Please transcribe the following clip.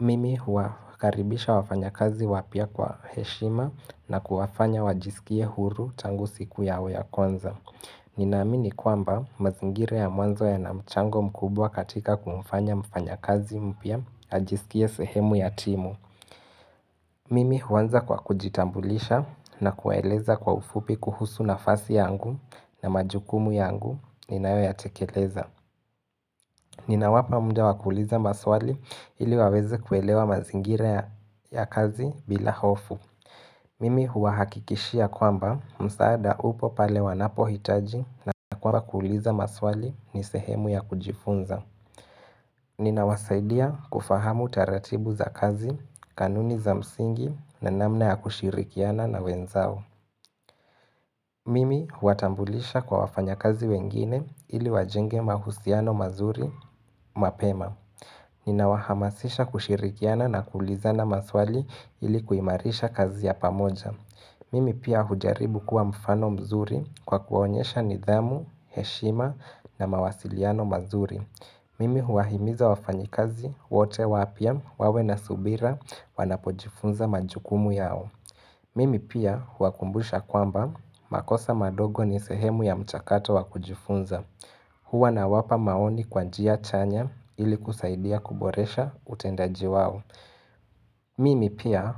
Mimi huakaribisha wafanya kazi wapya kwa heshima na kuwafanya wajisikie huru tangu siku yau ya kwanza. Ninaamini kwamba mazingire ya mwanzo ya na mchango mkubwa katika kumfanya mfanya kazi mpya ya ajisikie sehemu ya timu. Mimi huanza kwa kujitambulisha na kueleza kwa ufupi kuhusu nafasi yangu na majukumu yangu ninawe ya tekeleza. Nina wapa muda wakuliza maswali ili wawezi kuelewa mazingire ya kazi bila hofu. Mimi huahakikishia kwamba msaada upo pale wanapo hitaji na kwamba kuliza maswali ni sehemu ya kujifunza. Nina wasaidia kufahamu taratibu za kazi, kanuni za msingi na namna ya kushirikiana na wenzao. Mimi huatambulisha kwa wafanya kazi wengine ili wajenge mahusiano mazuri mapema. Nina wahamasisha kushirikiana na kulizana maswali ilikuimarisha kazi ya pamoja Mimi pia hujaribu kuwa mfano mzuri kwa kuonyesha nidhamu, heshima na mawasiliano mazuri Mimi huahimiza wafanyikazi, wote wapya, wawe na subira, wanapojifunza majukumu yao Mimi pia huwakumbusha kwamba, makosa madogo ni sehemu ya mchakato wakujifunza huwa na wapa maoni kwa njia chanya ili kusaidia kuboresha utendaji wao. Mimi pia